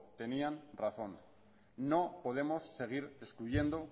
tenía razón no podemos seguir excluyendo